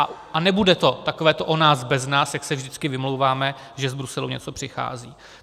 A nebude to takové to "o nás bez nás", jak se vždycky vymlouváme, že z Bruselu něco přichází.